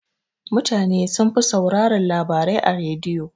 Mutana sunfi sauraran labarai a rediyo.